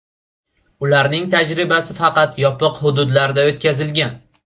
Ularning tajribasi faqat yopiq hududlarda o‘tkazilgan.